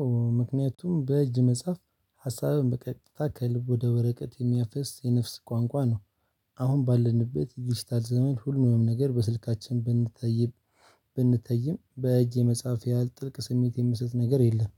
አዎ ምክንያቱም በእጅ መጽሐፍ ሀሳብን በቀጥታ ከልብ ወደ ወረቀት የሚያፈስ የነፍስ ቋንቋ ነው። አሁን ባለንበት ዲጂታል ዘመን ሁሉንም ነገር በስልካችን። ብንተይም በእጅ የመጻፍ ያህል ጥልቅ ስሜት የሚሰጥ ነገር የለም።